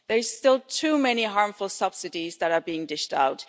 There are still too many harmful subsidies that are being dished out